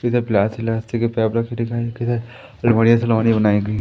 जिधर प्लास अलमारीयां सलमारियां बनाई गई--